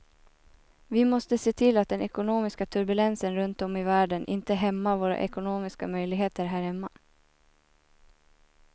Vi måste se till att den ekonomiska turbulensen runt om i världen inte hämmar våra ekonomiska möjligheter här hemma.